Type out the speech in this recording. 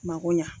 Mako ɲa